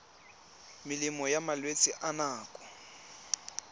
melemo ya malwetse a nako